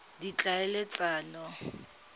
ditlhaeletsano